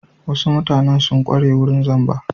Wasu mutanen sun ƙware wurin zamba.